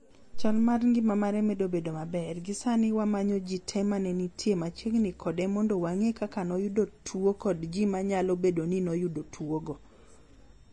Chal mar ngima mare medo bedo maber gi sani wamanyo ji te mane nitie machiegni kode mod wang'e kaka noyudo tuwo kond ji manyalo bed ni noyudo tuwogo.